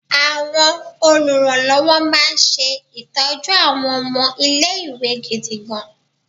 Àwọn oluranlowo máa ń ṣe ìtọ́jú àwọn ọmọ ilé-ìwé gidigan.